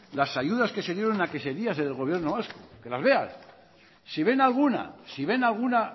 las ayudas que se dieron en la que sería el gobierno vasco que las lean si ven alguna